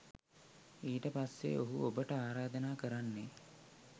ඊට පස්සෙ ඔහු ඔබට ආරාධනා කරන්නෙ